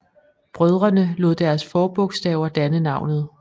Brødrene lod deres forbogstaver danne navnet